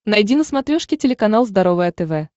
найди на смотрешке телеканал здоровое тв